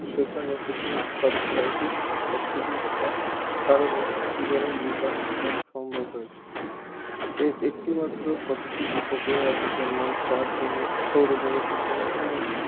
সেখানে এখানে শতকরা একুশ ভাগ অক্সিজেন থাকার কারণেই জীবনের বিকাশ ঘটা সম্ভব হয়েছে এর একটি মাত্র প্রাকৃতিক উপগ্রহ আছে যার নাম চাঁদ বা moon সৌরজগতের অন্নান্য